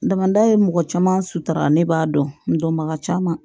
Damanda ye mɔgɔ caman sutura ne b'a dɔnbaga caman